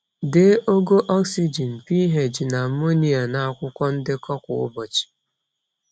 Dee ogo oxygen, pH na ammonia n’akwụkwọ ndekọ kwa ụbọchị.